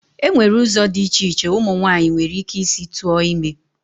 Enwere ụzọ dị iche iche umu nwaanyị nwere ike isi tụọ ime.